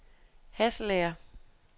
Hasselager